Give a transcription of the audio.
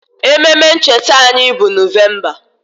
Ememe ncheta anyị bụ Nọvemba